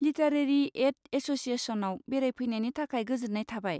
Literary एड एस'सियेसनआव बेरायफैनायनि थाखाय गोजोन्नाय थाबाय।